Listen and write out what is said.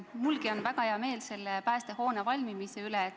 Mulgi on väga hea meel Kihnu päästehoone valmimise üle.